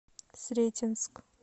сретенск